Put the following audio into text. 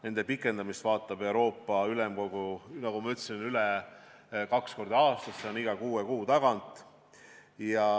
Nende pikendamise vaatab üle Euroopa Ülemkogu, nagu ma ütlesin, kaks korda aastas, iga kuue kuu tagant.